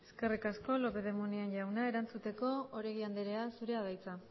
eskerrik asko lópez de munain jauna erantzuteko oregi andrea zurea da hitza